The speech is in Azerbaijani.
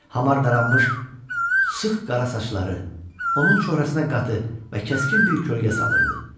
Hamar daranmış sıx qara saçları onun çöhrəsinə qatdı və kəskin bir kölgə salırdı.